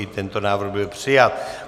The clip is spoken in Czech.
I tento návrh byl přijat.